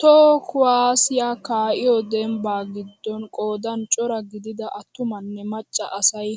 Toho kuwaasiyaa ka'iyoo dembbaa giddon qoodan cora gidida attumanne macca asay